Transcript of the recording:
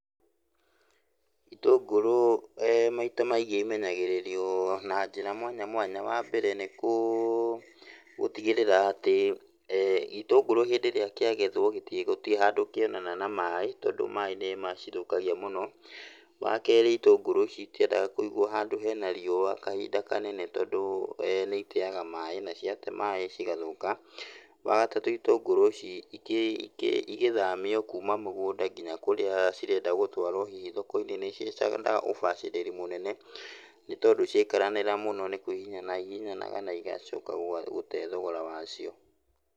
Itũngũrũ maita maingĩ imenyagĩrĩrwo na njĩra mwanya mwanya. Wambere nĩkũ, gũtigĩrĩra atĩ itũngũrũ hĩndĩ ĩrĩa kĩagethwo gĩti, gũtirĩ handũ kĩonana na maaĩ tondũ maaĩ nĩmacithũkagia mũno. Wakerĩ itũngũrũ citiendaga kũigwo handũ hena riũa kahinda kanene tondũ nĩ iteaga maaĩ na ciate maaĩ cigathũka. Wagatatũ itũngũrũ ici iti, iki igĩthamio kuuma mũgũnda nginya kũrĩa cirenda gũtwarwo hihi thoko-inĩ nĩciendaga ũbacĩrĩri mũnene nĩtondũ ciaikaranĩra mũno nĩ kũhihinyana ihihinyananaga na igacoka gũg, gũte thogora wacio.